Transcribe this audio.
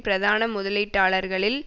பிரதான முதலீட்டாளர்களில்